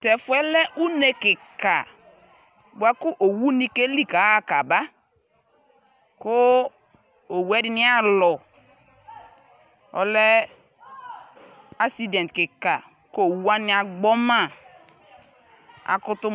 Tɛfuɛ lɛ unee kiika buaku owuni keli kaɣa kaba kuu owuɛdi aalɔɔlɛɛ accident kiika kowuwani agbɔmaa